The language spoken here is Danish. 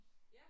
Ja